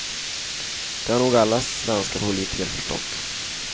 Det har nog alla svenska politiker förstått.